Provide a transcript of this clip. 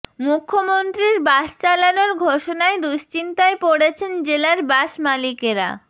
মুখ্যমন্ত্রীর বাস চালানোর ঘোষণায় দুশ্চিন্তায় পড়েছেন জেলার বাস মালিকেরা